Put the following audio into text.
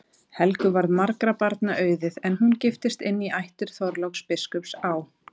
Helgu varð margra barna auðið, en hún giftist inn í ættir Þorláks biskups á